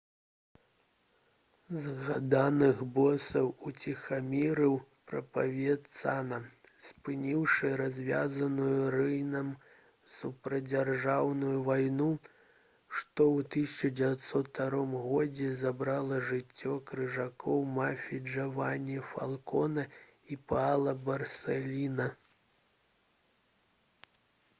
«згаданых босаў уціхамірыў правенцана спыніўшы развязаную рыйнам супрацьдзяржаўную вайну што ў 1992 годзе забрала жыццё крыжакоў мафіі джавані фалконе і паала барсэліна»